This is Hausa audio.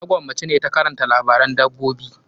Na gwammaci na ta karanta labaran dabbobi.